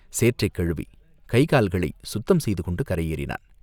சேற்றைக் கழுவிக் கைகால்களைச் சுத்தம் செய்து கொண்டு கரை ஏறினான்.